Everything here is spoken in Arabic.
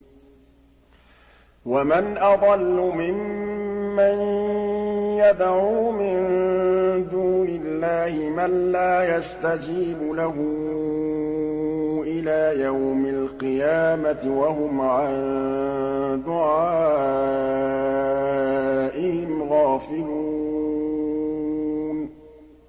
وَمَنْ أَضَلُّ مِمَّن يَدْعُو مِن دُونِ اللَّهِ مَن لَّا يَسْتَجِيبُ لَهُ إِلَىٰ يَوْمِ الْقِيَامَةِ وَهُمْ عَن دُعَائِهِمْ غَافِلُونَ